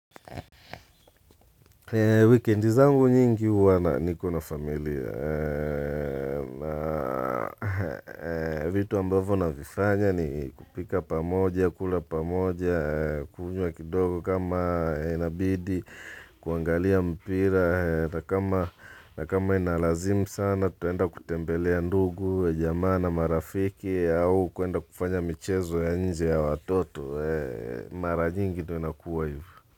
Wikendi zangu nyingi huwa na niko na familia. Vitu ambavo navifanya ni kupika pamoja, kula pamoja, kujua kidogo kama inabidi, kuangalia mpira na kama inalazim sana tutaenda kutembelea ndugu, jamaa na marafiki au kuenda kufanya michezo ya nje ya watoto. Mara nyingi tu inakuwa hivo.